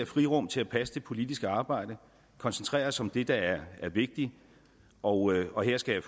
frirum til at passe det politiske arbejde og koncentrere os om det der er vigtigt og og jeg skal